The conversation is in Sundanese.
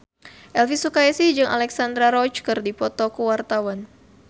Elvy Sukaesih jeung Alexandra Roach keur dipoto ku wartawan